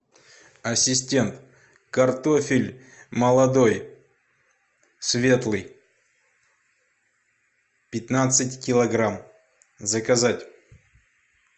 ассистент картофель молодой светлый пятнадцать килограмм заказать